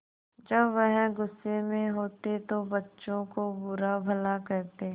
जब वह गुस्से में होते तो बच्चों को बुरा भला कहते